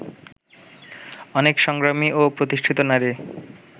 অনেক সংগ্রামী ও প্রতিষ্ঠিত নারী